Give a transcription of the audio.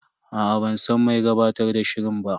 Aa ban san mai gabatar da shirin ba.